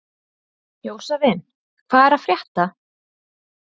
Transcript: Jósavin, hvað er að frétta?